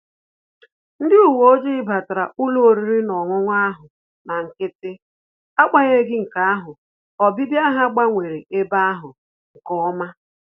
Ndị uwe ojii batara ụlọ oriri na ọṅụṅụ ahụ na nkịtị, agbanyeghi nke ahụ, obibia ha gbanwere ebe ahụ nke ọma